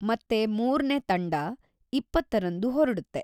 ಮತ್ತೆ ಮೂರ್ನೇ ತಂಡ ಇಪ್ಪತ್ತರಂದು ಹೊರಡುತ್ತೆ.